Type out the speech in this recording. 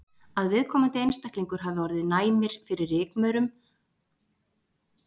Að viðkomandi einstaklingar hafi orðið næmir fyrir rykmaurum á ferðalögum erlendis eða innanlands.